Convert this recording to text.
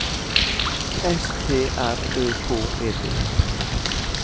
S T R Ø K E T